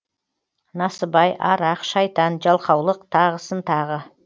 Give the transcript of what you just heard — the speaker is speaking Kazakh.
насыбай арақ шайтан жалқаулық тағысын тағы